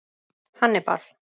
Hannibal